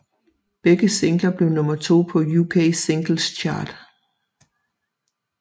Begge singler blev nummer 2 på UK Singles Chart